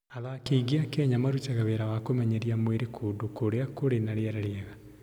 Athaki aingĩ a Kenya marutaga wĩra wa kũmenyeria mwĩrĩ kũndũ kũu Iten kũrĩa kũrĩ na rĩera rĩega.